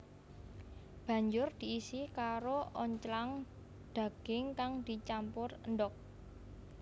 Banjur diisi karo onclang daging kang dicampur endhog